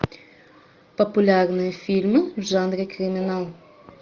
популярные фильмы в жанре криминал